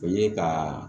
O ye ka